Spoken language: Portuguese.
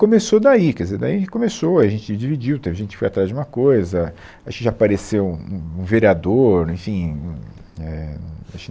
Começou daí, quer dizer, daí começou, a gente dividiu, teve gente que foi atrás de uma coisa, acho que já apareceu um um vereador. enfim, é, acho